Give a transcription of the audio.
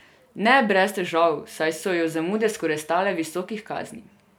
Ne brez težav, saj so jo zamude skoraj stale visokih kazni.